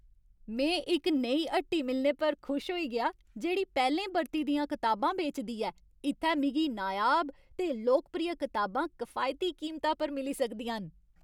में इक नेही हट्टी मिलने पर खुश होई गेआ जेह्ड़ी पैह्लें बरती दियां कताबां बेचदी ऐ। इत्थै मिगी नायाब ते लोकप्रिय कताबां कफायती कीमता पर मिली सकदियां न।